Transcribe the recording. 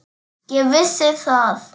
Ég vissi það.